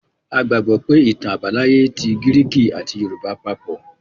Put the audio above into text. A gbàgbọ́ pé ìtàn àbáláyé ti gíríkì àti yorùbá papọ̀.